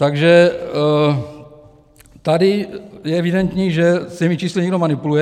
Takže tady je evidentní, že s těmi čísly někdo manipuluje.